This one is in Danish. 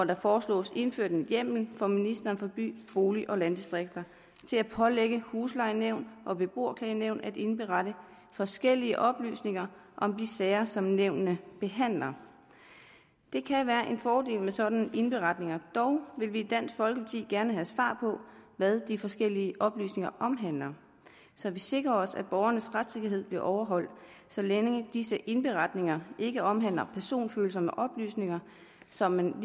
der foreslås indført en hjemmel for ministeren for by bolig og landdistrikter til at pålægge huslejenævn og beboerklagenævn at indberette forskellige oplysninger om de sager som nævnene behandler det kan være en fordel med sådanne indberetninger dog vil vi i dansk folkeparti gerne have svar på hvad de forskellige oplysninger omhandler så vi sikrer os at borgernes retssikkerhed bliver overholdt sådan at disse indberetninger ikke omhandler personfølsomme oplysninger så man